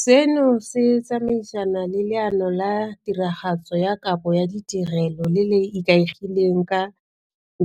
Seno se tsamaisana le Leano la Tiragatso ya Kabo ya Ditirelo le le Ikaegileng ka